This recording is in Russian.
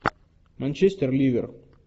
манчестер ливер